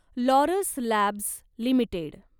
Laurus labs limited